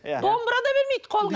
домбыра да бермейді қолға